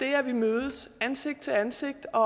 at vi mødes ansigt til ansigt og